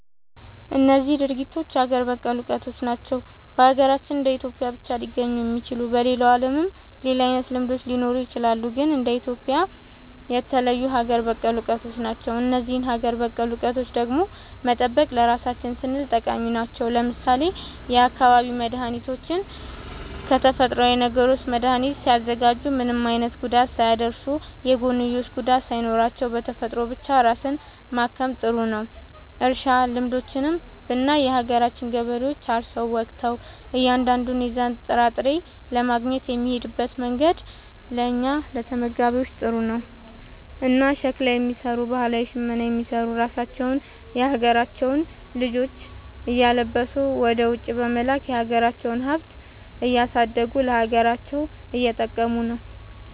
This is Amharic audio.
እነዚህ ድርጊቶች ሀገር በቀል እውቀቶች ናቸው። በሀገራችን እንደ ኢትዮጵያ ብቻ ሊገኙ የሚችሉ። በሌላው ዓለምም ሌላ አይነት ልምዶች ሊኖሩ ይችላሉ። ግን እንደ ኢትዮጵያ የተለዩ ሀገር በቀል እውቀቶች ናቸው። እነዚህን ሀገር በቀል እውቀቶች ደግሞ መጠበቅ ለራሳችን ስንል ጠቃሚ ናቸው። ለምሳሌ የአካባቢ መድኃኒቶችን ከተፈጥሮዊ ነገሮች መድኃኒት ሲያዘጋጁ ምንም አይነት ጉዳት ሳያደርሱ፣ የጎንዮሽ ጉዳት ሳይኖራቸው፣ በተፈጥሮ ብቻ ራስን ማከም ጥሩ ነዉ። እርሻ ልምዶችንም ብናይ የሀገራችን ገበሬዎች አርሰው ወቅተው እያንዳንዱን የዛን ጥራጥሬ ለማግኘት የሚሄድበት መንገድ ለእኛ ለተመጋቢዎች ጥሩ ነው። እና ሸክላ የሚሰሩ ባህላዊ ሽመና የሚሰሩ ራሳቸውን የሀገራቸውን ልጆች እያለበሱ ወደ ውጪ በመላክ የሀገራቸውን ሃብት እያረዱ ለሀገራቸውም እየጠቀሙ ነው ማለት።